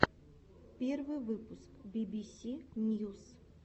первый выпуск би би си ньюс